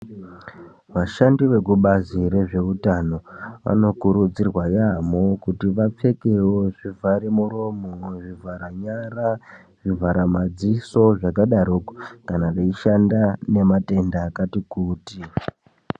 Vashandi vekubazi rezveutano vanokurudzirwa yampho kuti vapfekewo zvivhara muromo, zvivhara nyara, zvivhara madziso zvakadaroko kana veishanda nematenda akati kuti.